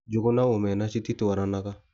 Njũgũ na omena cititwaranaga